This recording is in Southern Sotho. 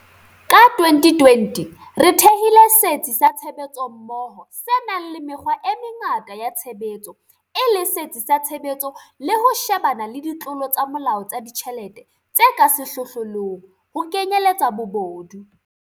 Ka 2020, re thehile Setsi sa Tshebetsommoho se nang le mekgwa e mengata ya tshebetso e le setsi sa tshebetso le ho shebana le ditlolo tsa molao tsa ditjhelete tse ka sehlohlolong, ho kenyeletsa bobodu.